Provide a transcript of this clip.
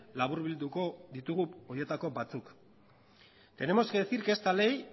laburbilduko ditugu horietako batzuk tenemos que decir que esta ley